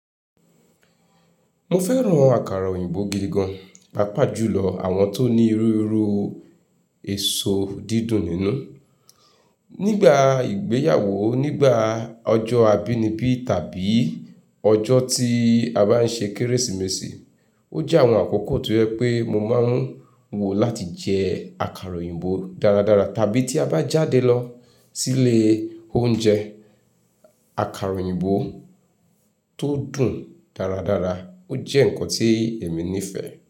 Mo fẹ́ran àkàrà òyìnbó gidi gan, pàápàá jùlọ àwọn tó ní irúru èso dídùn nínú. Nígbà ìgbéyàwó, nígbà ọjọ́ abínibí tàbí ọjọ́ tí a bá n ṣe Kérésìmesì, ó jẹ́ àwọn àkókò tí ọ jẹ pé mo máa ń wò láti jẹ àkàrà òyìnbó dáradára. Tàbí tí a bá jáde lọ sílé oúnjẹ, àkàrà òyìnbó tó dùn dáradára ó jẹ́ ǹkan tí èmi nífẹ̀ẹ́.